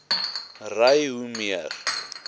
ry hoe meer